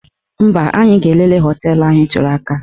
Mba, anyị ga-elele họteelụ ahụ ị tụrụ aka.